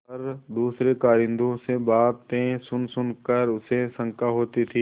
पर दूसरे कारिंदों से बातें सुनसुन कर उसे शंका होती थी